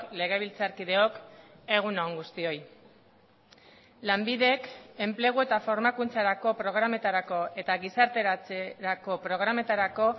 legebiltzarkideok egun on guztioi lanbidek enplegu eta formakuntzarako programetarako eta gizarteratzerako programetarako